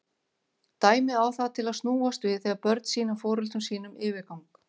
Dæmið á það til að snúast við þegar börn sýna foreldrum sínum yfirgang.